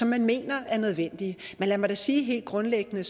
man mener er nødvendige men lad mig da sige helt grundlæggende